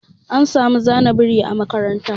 An samu zana biri yau a makaranta.